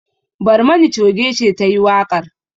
Barmani choge ce ta yi waƙar.